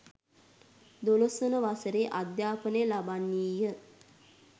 දොළොස්වන වසරේ අධ්‍යාපනය ලබන්නීය